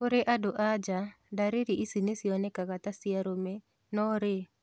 Kũri andu anja, ndariri ici nĩ cionekanaga ta cia arũme no rĩ